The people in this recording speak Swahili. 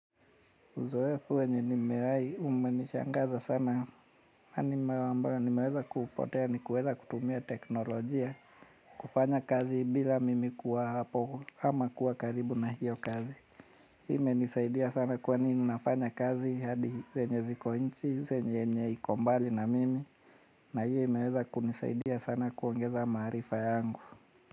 Uzoefu wenye nimewahi umenishangaza sana na nimeweza kupotea ni kuweza kutumia teknolojia, kufanya kazi bila mimi kuwa hapo ama kuwa karibu na hiyo kazi. Imenisaidia sana kwani ninafanya kazi hadi zenye ziko inchi, zenye yenye iko mbali na mimi na hiyo imeweza kunisaidia sana kuongeza maarifa yangu.